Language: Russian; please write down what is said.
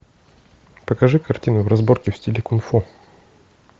покажи картину разборки в стиле кунг фу